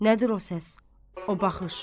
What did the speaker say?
Nədir o səs, o baxış?